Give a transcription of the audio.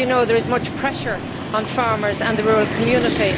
As you know, there is much pressure on farmers and the rural community.